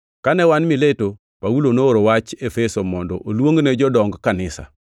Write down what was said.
Kane wan Mileto, Paulo nooro wach Efeso mondo oluongne jodong kanisa.